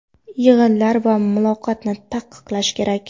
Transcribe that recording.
Yig‘inlar va muloqotni taqiqlash kerak.